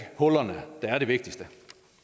hullerne der er det vigtigste